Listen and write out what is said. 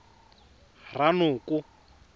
ranoko